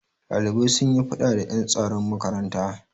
Ɗalibai sun yi faɗa da ƴan tsaron makaranta.